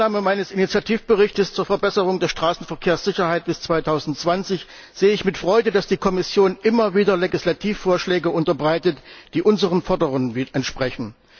Seit der Annahme meines Initiativberichts zur Verbesserung der Straßenverkehrssicherheit bis 2020 sehe ich mit Freude, dass die Kommission immer wieder Legislativvorschläge unterbreitet, die unseren Forderungen entsprechen.